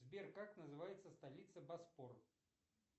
сбер как называется столица боспор